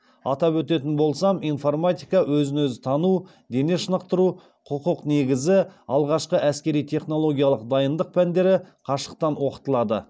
атап өтетін болсам информатика өзін өзі тану дене шынықтыру құқық негізі алғашқы әскери технологиялық дайындық пәндері қашықтан оқытылады